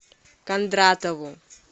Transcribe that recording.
кондратову